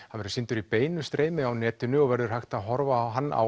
verður sýndur í beinu streymi á netinu og verður hægt að horfa á hann á